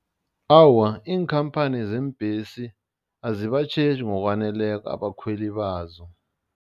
Awa, iinkhamphani zeembesi azibatjheji ngokwaneleko abakhweli bazo.